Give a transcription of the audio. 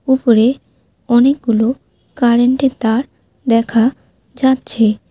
উপরে অনেকগুলো কারেন্টের তার দেখা যাচ্ছে।